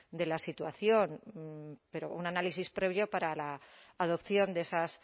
de la situación pero un análisis previo para la adopción de esas